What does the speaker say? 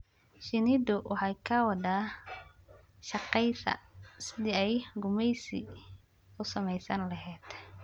Shinnidu waxay ka wada shaqaysaa sidii ay gumaysi u samaysan lahayd.